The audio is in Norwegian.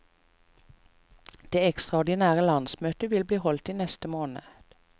Det ekstraordinære landsmøtet vil bli holdt i neste måned.